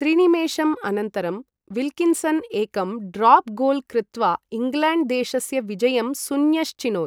त्रिनिमेषम् अनन्तरं विल्किन्सन् एकं drop goal कृत्वा इङ्ग्लैण्ड् देशस्य विजयं सुन्यश्चिनोत्।